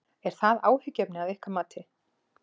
Er það áhyggjuefni að ykkar mati?